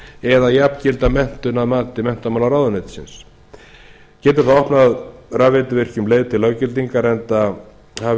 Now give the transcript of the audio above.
eða jafngilda menntun að mati menntamálaráðuneytisins getur það opnað rafveituvirkjum leið til löggildingar enda hafi